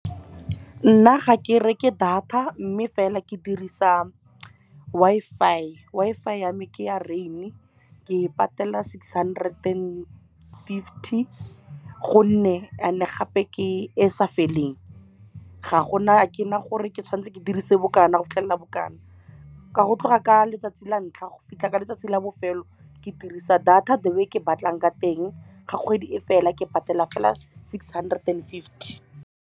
Ke nna ga ke reke data mme fela ke dirisa Wi-Fi. Wi-Fi yame ke ya Rain, ke patela six hundred and fifty. And-e gape ke e sa feleng. A ke na gore ke tshwanetse ke dirise bo kana go fitlhelela bo kana. Ka go tloga ka letsatsi la ntlha go fitlha ka letsatsi la bofelo, ke dirisa data the way ke batlang ka teng. Ga kgwedi e fela ke patela fela six hundred and fifty.